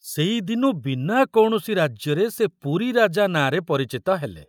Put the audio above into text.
ସେଇଦିନୁ ବିନା କୌଣସି ରାଜ୍ୟରେ ସେ ପୁରୀ ରାଜା ନାଁରେ ପରିଚିତ ହେଲେ।